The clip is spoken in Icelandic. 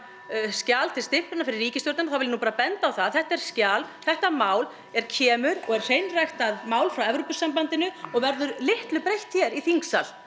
skjal til stimplunar fyrir ríkisstjórnina þá vil ég nú bara benda á það að þetta er skjal þetta mál er kemur og er hreinræktað mál frá Evrópusambandinu og verður litlu breytt hér í þingsal